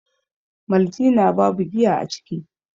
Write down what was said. maltina babu giya a ciki